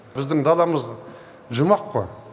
біздің даламыз жұмақ қой